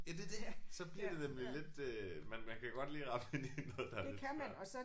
Ja det er det. Så bliver det nemlig lidt øh men man kan godt lige ramme ind i noget der er lidt svært